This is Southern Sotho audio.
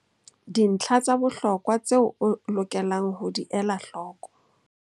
Dintlha tsa bohlokwa tseo o lokelang ho di ela hloko.